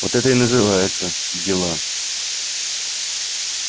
вот это и называется дела